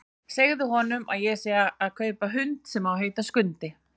Segðu honum að ég sé að fara að kaupa hund sem á að heita Skundi!